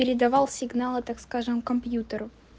передавал сигналы так скажем компьютеру